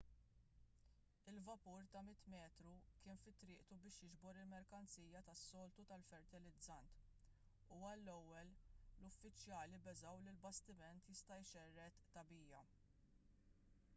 il-vapur ta' 100 metru kien fi triqtu biex jiġbor il-merkanzija tas-soltu tal-fertilizzant u għall-ewwel l-uffiċjali beżgħu li l-bastiment jista' jxerred tagħbija